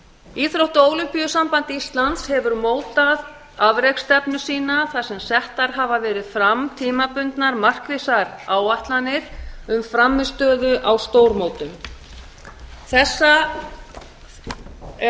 íþrótta og ólympíusamband íslands hefur mótað afreksstefnu sína þar sem settar hafa verið fram tímabundnar markvissar áætlanir um frammistöðu á stórmótum þetta er